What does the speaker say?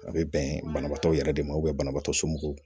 A bɛ bɛn banabaatɔ yɛrɛ de ma banabaatɔ somɔgɔw